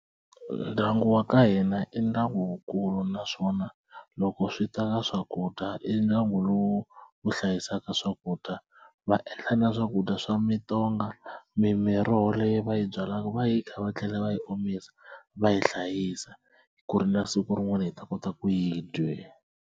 Ndyangu wa ka hina i ndyangu wukulu naswona loko swi ta ka swakudya i ndyangi lowu wu hlayisaka swakudya va endla na swakudya swa mitonga mi miroho leyi va yi byalaka va yikha va tlhela va yi omisa va yi hlayisa ku ri na siku rin'wana yi ta kota ku yi .